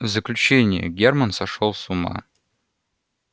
в заключении германн сошёл с ума